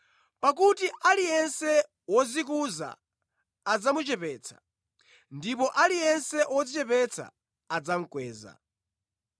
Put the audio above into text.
Pakuti aliyense wodzikuza adzamuchepetsa, ndipo aliyense wodzichepetsa adzamukweza.”